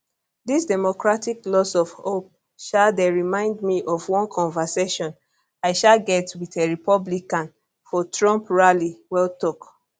dis democratic lose of hope um dey remind me of one conversation i um get wit a republican for trump rally well tok